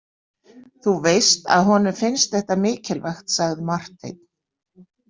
Þú veist að honum finnst þetta mikilvægt, sagði Marteinn.